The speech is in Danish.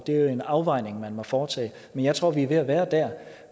det er jo en afvejning man må foretage men jeg tror at vi er ved at være der